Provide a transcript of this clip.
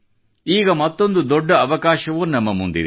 ಈಗ ಮತ್ತೊಂದು ದೊಡ್ಡ ಅವಕಾಶವೂ ನಮ್ಮ ಮುಂದಿದೆ